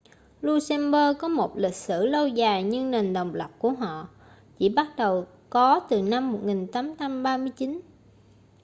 luxembourg có một lịch sử lâu dài nhưng nền độc lập của họ chỉ bắt đầu có từ năm 1839